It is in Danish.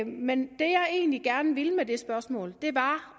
men det jeg egentlig gerne ville med det spørgsmål var